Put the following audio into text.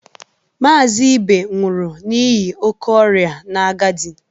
Mazị Ibe nwụrụ n'ihi oke ọrịa na agadi.